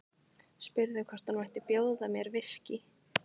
Spurði hvort hún mætti bjóða mér viskí.